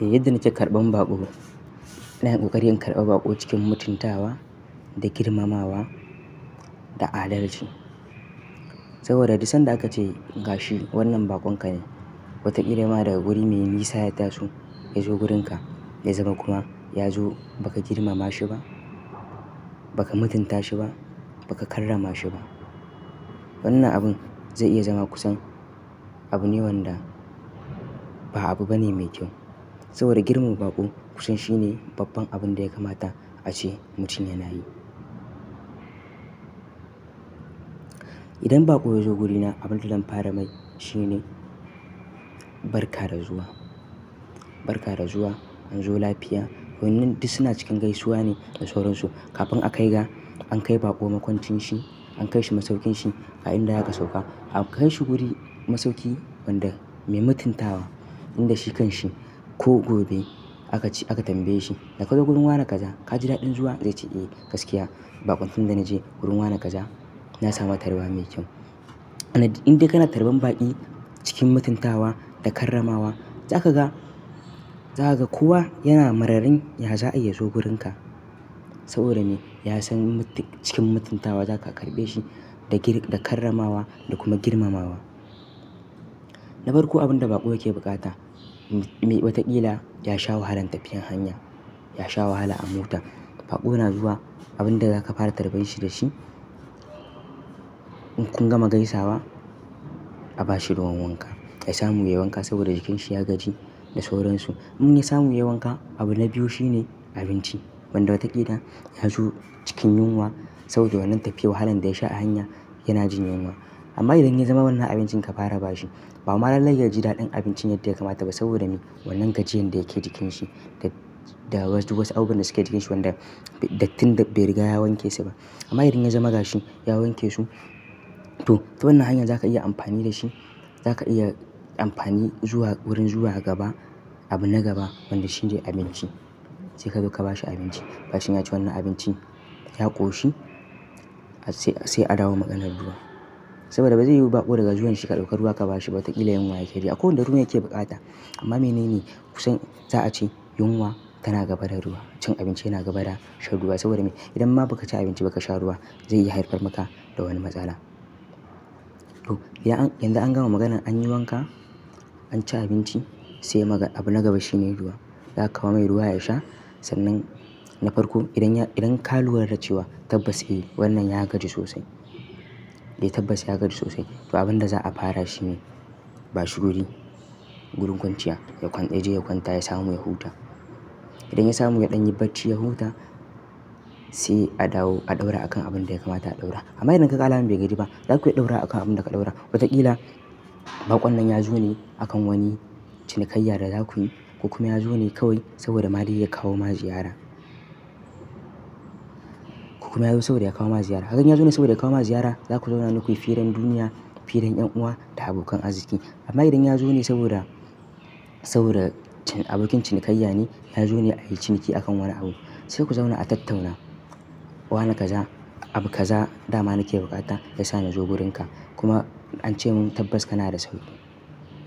Eh, yadda na ce karɓar baƙo. Na yi kokarin karɓar baƙo cikin mutuntawa da girmamawa da adalci. Saboda duk sanda aka ce gashi wannan baƙon ka ne, wata ƙila ma daga wuri mai nisa yataso ya zo wurinka ya zama kuma ya zo ba ka girmama shi ba, ba ka mutunta shi ba, ba ka karrama shi ba. Wannan abun zai iya zama kusan abu ne wanda ba abu bane mai kyau. Saboda girmar baƙo kusan shine babban abun da ya kamata ace mutum yana yi. Idan baƙo ya zo wurina, abin da zan fara mai shine barka da zuwa. Barka da zuwa, an zo lafiya. Waɗannan duk suna cikin gaisuwa ne da sauran su. Kafin a kai ga, an kai baƙo makwancin shi, an kai shi masaukin shi, a inda ya ka sauka. A kai shi guri masauki wanda mai mutuntawa inda shi kan shi. Ko gobe aka ci aka tambaye shi "Ka zo wurin wa na kaza? Ka ji daɗin zuwa?" Zai ce "Eh, gaskiya. Baƙon tun da na je wurin wa na kaza, na samu tarba mai kyau." Indai kana tarban baƙi cikin mutuntawa da karramawa, za ka ga, za ka ga kowa yana mararrin ya za'ai ya zo wurinka. Saboda me? Ya san cikin mutuntawa za ka karɓe shi da gir da karramawa da kuma girmamawa. Na farko abin da baƙo yake bukata, me wataƙila ya sha wahalan tafiyar hanya, ya sha wahala a mota. Baƙo na zuwa abin da za ka fara tarba shi da shi, in kun gama gaisawa, a ba shi ruwan wanka. Ya samu yayi wanka saboda jikinsa ya gaji da sauran su. Inya samu yayi wanka, abu na biyu shine abinci. Wanda watakila ya zo cikin yunwa saboda wannan tafiyar wahalan da ya sha a hanya yana jin yunwa. Amma idan ya zama wannan abincin ka fara ba shi, ba ma lallai ya ji daɗin abincin yadda ya kamata ba saboda me wannan gajiyan da yake jikinsa da duk wasu abubuwan da suke jikinsa wanda dattin bai riga ya wanke su ba. Amma idan ya zama gashi ya wanke su, to ta wannan hanyar za ka iya amfani da shi. Za ka iya amfani zuwa wurin zuwa gaba, abu na gaba wanda shi ne abinci. Sai ka zo ka ba shi abinci. Bashi ya ci wannan abinci ya ƙoshi sai a dawo maganar ruwa. Saboda ba zai yiwu baƙo daga zuwan shi ka ɗauko ruwa ka ba shi ba. Wataƙila yunwa yake ji akwai wanda ruwa yake bukata. Amma menene kusan za a ce yunwa tana gaba da ruwa. Cin abinci yana gaba da sha ruwa. Saboda me? Idan ma ba ka ci abinci ba ka sha ruwa zai iya haifar maka da wani matsala. To, yanzu an gama maganan an yi wanka, an ci abinci sai abu na gaba shi ne ruwa. Za ka kawo mai ruwa ya sha. Sannan na farko idan ya idan ka lura da cewa tabbas eh wannan ya gaji sosai. Dai tabbas ya gaji sosai. To abin da za a fara shi ne ba shi wuri, wurin kwanciya. Ya je ya kwanta ya samu ya huta. Idan ya samu ya ɗan yibacci ya huta sai a dawo a ɗaura akan abin da ya kamata a ɗaura. Amma idan ka ƙala min bai gaji ba, za ka iya ɗaura akan abin da ka ɗaura. Wataƙila baƙon nan ya zo ne a kan wani cinikayya da za ku yi. Ko kuma ya zo ne kawai saboda madai ya kawo ma ziyara. Ko kuma ya zo saboda ya kawo ma ziyara. Haganta ya zo ne saboda ya kawo ma ziyara. Za ku zauna duk ku yi firan duniya, firan ƴan uwa da abokan arziki. Amma idan ya zo ne saboda, saboda abokin cinikayya ne ya zo ne a yi ciniki a kan wani abu. Sai ku zauna a tattauna. Wa na kaza, abu kaza dama nake bukata ya sa ni zo wurinka kuma an ce mun tabbas kana da sauki,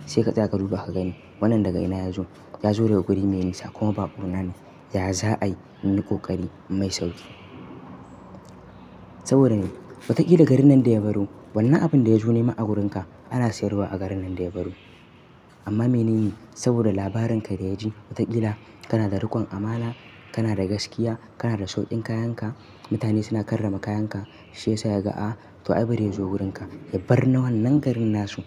sai ka duba ka gani wannan daga ina ya zo. Ya zo daga wuri mai nisa kuma baƙo na ne. Ya za'ai inyi ƙoƙari inmai sauƙi. Saboda me? Wataƙila garin nan da ya baro wannan abin da ya zo ne ma wurinka ana siyarwa a garin nan da ya baro. Amma menene saboda labarin ka da ya ji wataƙila kana da riƙon amana, kana da gaskiya, kana da sauƙin kayan ka, mutane suna karrama kayan ka, shi ya sa ya ga a, to ai bari ya zo wurin ka. Ya bar na wannan garin nasu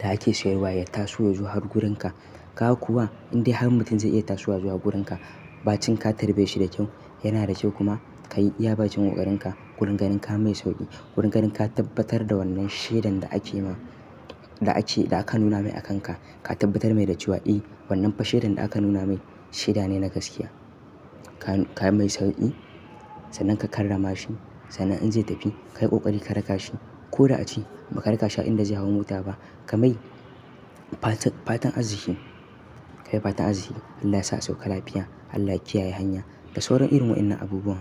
da ake siyarwa ya taso ya zo har wurin ka. Ka kuwa indai har mutum zai iya tasowa zuwa wurin ka. Ba cikin ka tarbe shi da kyau, yana da kyau kuma ka yi yabacin ƙoƙarin ka. Wurin ganin ka mai sauƙi. Wurin ganin ka tabbatar da wannan shaidan da aka yi ma da ake da aka nuna mai a kan ka. Ka tabbatar mai da cewa "Eh wannan fa shaidan da aka nuna mai shaida ne na gaskiya." Ka mai sauƙi. Sannan ka karrama shi. Sannan in zai tafi ka yi ƙoƙari ka raka shi. Ko da a ci ba ka raka shi a inda zai hau mota ba. Ka mai fatan arziki. Ka mai fatan arziki. Allah sa a sauƙa lafiya. Allah kiyaye hanya. Da sauran irin waɗannan abubuwan.